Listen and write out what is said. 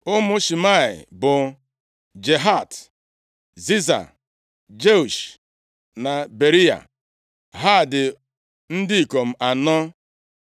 Ụmụ Shimei bụ, Jahat, Ziza, + 23:10 Nʼime ọtụtụ akwụkwọ Hibru ihe a na-ede bụ Zina Jeush na Beriya. Ha dị ndị ikom anọ.